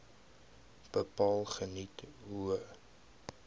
bepaal geniet hoë